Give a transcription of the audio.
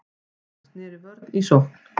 Hann sneri vörn í sókn.